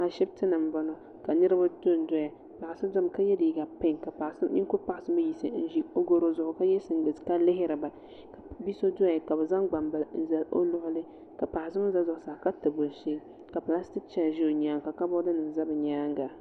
Ashiptini m boŋɔ ka niriba dondoya paɣa so domi ka ye liiga pinki ka ninkuri paɣa so yiɣisi n ʒi o goro zuɣu ka ye singileti ka lihiriba bia so doya ka bɛ zaŋ gbambila n zali o luɣuli ka paɣa so mee gba za zuɣusaa ka tabi o shee ka pilastiki cheya ʒɛ o nyaanga ka kaboori nima za bɛ nyaanga.